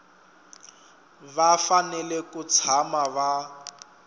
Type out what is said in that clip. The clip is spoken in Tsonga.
va fanele ku tshama va